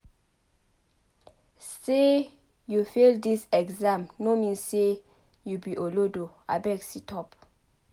Sey you fail dis exam no mean sey you be olodo abeg sit-up.